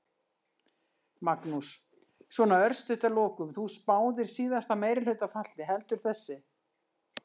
Magnús: Svona örstutt að lokum, þú spáðir síðasta meirihluta falli, heldur þessi?